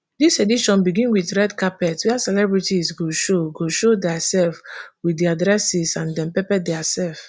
dis edition begin wit red carpet wia celebrities go show go show diasef wit dia dresses and dem pepper diasef